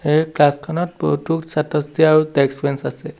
এই ক্লাছখনত বহুতো ছাত্ৰ-ছাত্ৰী আৰু ডেস্ক বেঞ্চ আছে।